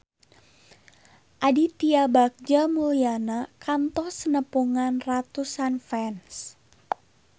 Aditya Bagja Mulyana kantos nepungan ratusan fans